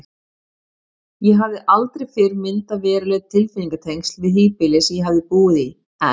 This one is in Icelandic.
Ég hafði aldrei fyrr myndað veruleg tilfinningatengsl við híbýli sem ég hafði búið í, en